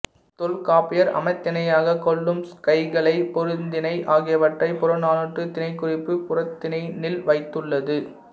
தொல்காப்பியர் அமத்திணையாகக் கொள்ளும் கைக்கிளை பெருந்திணை ஆகியவற்றைப் புறநானூற்றுத் திணைக்குறிப்பு புறத்திணைநில் வைத்துள்ளது